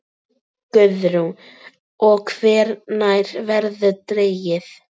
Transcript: Guðrún: Og hvenær verður dregið?